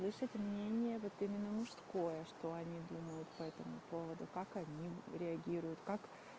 слышать мнение вот именно мужское что они думают по этому поводу как они реагируют как